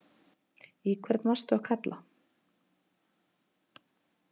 Í hvern varstu að kalla?